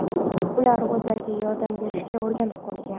Ular o‘zgalarga yordam berishga o‘rganib qolgan.